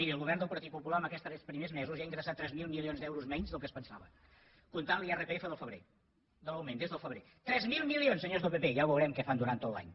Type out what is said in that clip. miri el govern del partit popular en aquests primers mesos ja ha ingressat tres mil milions d’euros menys del que es pensava comptant l’irpf del febrer de moment des del febrer tres mil milions senyors del pp ja veurem què fan durant tot l’any